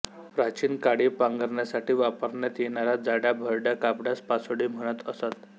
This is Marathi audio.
प्राचीन काळी पांघरण्यासाठी वापरण्यात येणाऱ्या जाड्याभरड्या कापडास पासोडी म्हणत असत